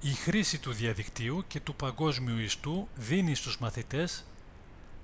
η χρήση του διαδικτύου και του παγκόσμιου ιστού δίνει στους μαθητές